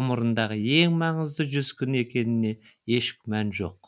ғұмырындағы ең маңызды жүз күн екеніне еш күмән жоқ